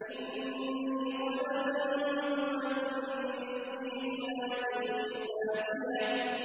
إِنِّي ظَنَنتُ أَنِّي مُلَاقٍ حِسَابِيَهْ